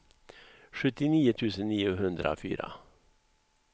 sjuttionio tusen niohundrafyra